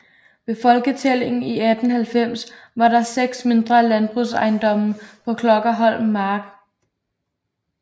Ved folketællingen i 1890 var der 6 mindre landbrugsejendomme på Klokkerholm Mark